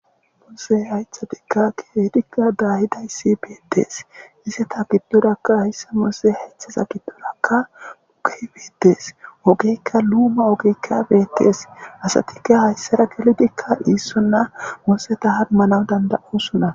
muse haythatikka kibeetikka daayidayssi beiddees iseta giddorakka haysse moose heththiza giddorakka uge bedees ogeykka luuma ogeykka beetes asatikka hayssera kelotikka iissonna museta hanmanaw danda7usona